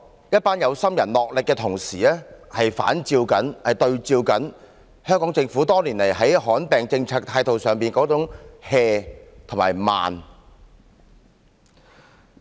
一班有心人的努力同時比照出香港政府多年來在罕見疾病政策上的態度是""和慢。